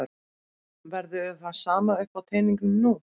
Verður það sama uppi á teningnum nú?